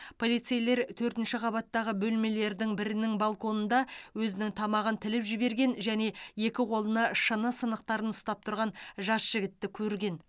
полицейлер төртінші қабаттағы бөлмелердің бірінің балконында өзінің тамағын тіліп жіберген және екі қолына шыны сынықтарын ұстап тұрған жас жігітті көрген